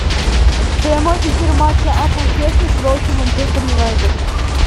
прямой эфир матча апл челси против манчестер юнайтед